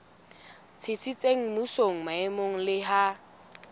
tsitsitseng mmusong maemong le ha